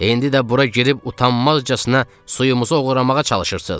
İndi də bura girib utanmazcasına suyumuzu oğramağa çalışırsınız.